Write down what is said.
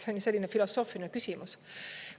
See on selline filosoofiline küsimus.